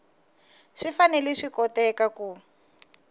swi fanele swi koteka ku